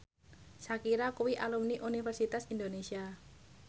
Shakira kuwi alumni Universitas Indonesia